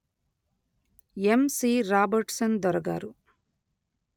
యమ్ C Robertson దొర గారు